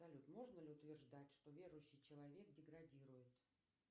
салют можно ли утверждать что верующий человек деградирует